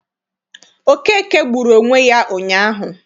Okeke gburu onwe ya ụnyaahụ.